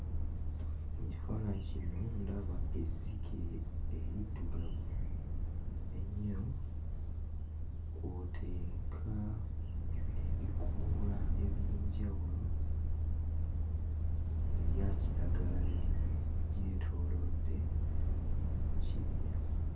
Mu kifaananyi kino ndaba ezzike eriddugavu ennyo kw'oteeka ebikoola eby'enjawulo ebya kiragala; byetoolodde mu kibira.